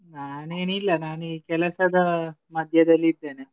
ನಾನೇನಿಲ್ಲ ನಾನು ಈ ಕೆಲ್ಸದ್ದು ಮಧ್ಯದಲ್ಲಿದ್ದೇನೆ.